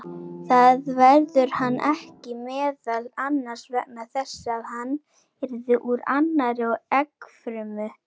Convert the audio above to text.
Það verður hann ekki, meðal annars vegna þess að hann yrði úr annarri eggfrumu.